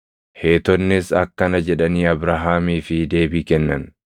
Heetonnis akkana jedhanii Abrahaamii fi deebii kennan;